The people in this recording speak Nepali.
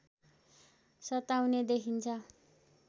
सताउने देखिन्छ